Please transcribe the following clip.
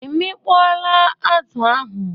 I mikpọọla azụ ahụ.